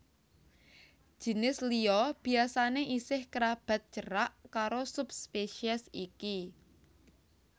Jinis liya biasané isih kerabat cerak karo subspesies iki